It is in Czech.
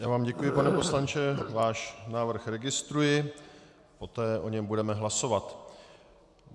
Já vám děkuji, pane poslanče, váš návrh registruji, poté o něm budeme hlasovat.